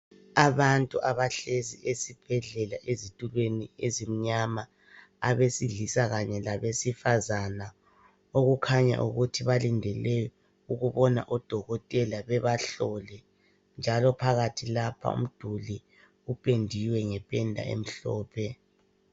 Abantu abahlezi esibhedlela ezitulweni ezimnyama abesilisa kanye labesifazane, okukhanya ukuthi balindele ukubona odokotela bebahlole. Njalo phakathi lapha umduli upendiwe ngependa emhlophe.